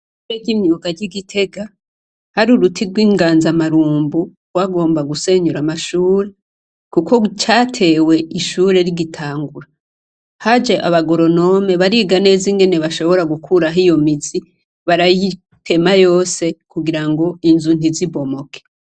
Ishure ry'imyuga ry'i Gitega hari uruti rw'inganza marumbu rwagomba gusenyura amashure, kuko catewe ishure rigitangura, haje abagoronome bariga neza ingene bashobora gukuraho iyo mizi, barayitema yose kugira ngo inzu ntizibomoke.